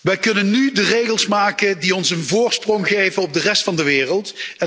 Wij kunnen nu de regels maken die ons een voorsprong geven op de rest van de wereld.